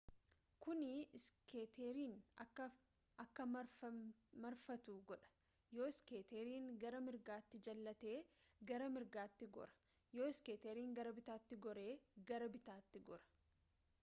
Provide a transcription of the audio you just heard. kuni iskeeterin akka marfatu godha yoo iskeetiin gara mirgaatti jallate gara mirgaatti goora yoo iskeetiin gara bitaatti gore gara bittaatti gora